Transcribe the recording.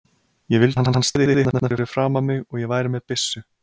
Ég vildi að hann stæði hérna fyrir framan mig og ég væri með byssu.